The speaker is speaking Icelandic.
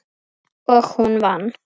Og hún vann.